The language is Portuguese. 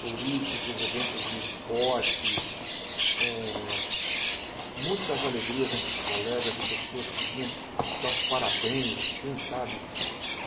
turísticos, eventos de esporte eh, muitas alegrias entre os colegas e pessoas que vinham dar os parabéns assim, sabe?